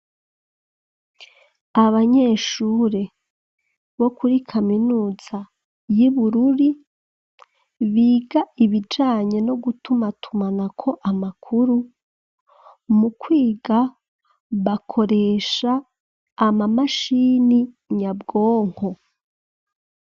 Abanyeshure, bo kuri kaminuza y'i Bururu, biga ibijanye no gutumatumanako amakuru; mu kwiga, bakoresha amamashini nyabwonko.